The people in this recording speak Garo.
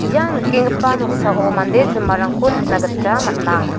ia nikenggipa noksao mande jinmarangko nikna gita man·a.